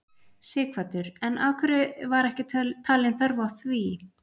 Sighvatur: En af hverju var ekki talin þörf á því?